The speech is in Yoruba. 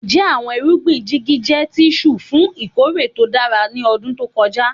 Njẹ awọn irugbin jigi jẹ tirun fun ikore to dara ni ọdun to kọja?